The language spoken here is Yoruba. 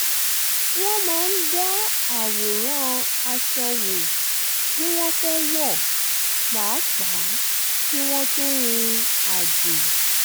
wọ́n máa ń dá àwòrán aṣọ wo tí wọ́n fẹ́ wọ pàápàá kí wọ́n tó rìn àjò